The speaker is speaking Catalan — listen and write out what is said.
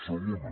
segona